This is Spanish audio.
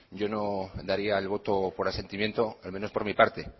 yo no daría el voto por asentimiento al menos por mi parte